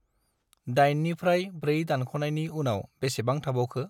दाइनिफ्राय ब्रै दानख'नायनि उनाव बेसेबं थाबावखो?